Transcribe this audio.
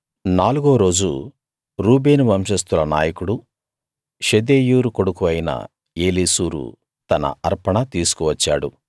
నాలుగో రోజు రూబేను వంశస్తుల నాయకుడూ షెదేయూరు కొడుకూ అయిన ఏలీసూరు తన అర్పణ తీసుకు వచ్చాడు